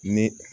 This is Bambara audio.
Ni